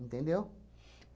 Entendeu?